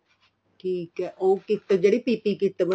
ਠੀਕ ਏ ਉਹ kit ਜਿਹੜੀ PP kit